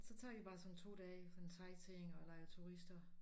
Så tager vi bare sådan 2 dage sådan sightseeing og leger turister